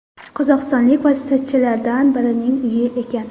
Qozog‘istonlik vositachilardan birining uyi ekan.